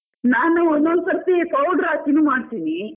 ನಾನು ಒಂದೊಂದು ಸರ್ತಿ powder ಹಾಕಿನು ಮಾಡ್ತಿನಿ.